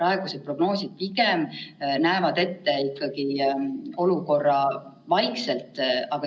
Näiteks on võimalik eesti keele riigieksam lükata 30. aprillile, ja on hinnatud, et siis me suudame, väga suure pingutusega küll, eksamitulemused teha avalikuks 18. juuniks.